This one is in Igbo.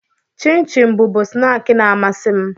Chịm chịm bụbu snaakị na-amasị m.